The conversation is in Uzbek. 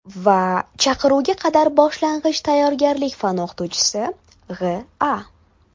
va chaqiruvga qadar boshlang‘ich tayyorgarlik fani o‘qituvchisi G‘.A.